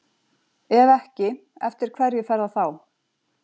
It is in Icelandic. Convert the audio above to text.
Ef ekki, eftir hverju fer það þá?